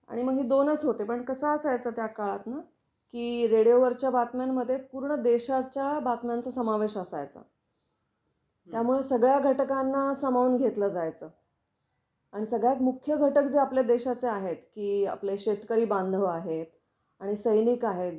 आणि मग हे दोनच होते. पण कसं असायचा त्या काळात ना की रेडिओ वर च्या बातम्यांमध्ये पूर्णदेशाच्या बातम्यांचा समावेश असायच्या. त्यामुळे सगळ्या घटकांना सामावून घेतलं जायचं आणि सगळ्यात मुख्य घटक जे आपल्या देशाचे आहेत की आपले शेतकरी बांधव आहे आणि सैनिक आहेत जे आपल्या साठी